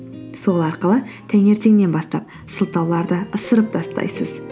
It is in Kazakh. сол арқылы таңертеңнен бастап сылтауларды ысырып тастайсыз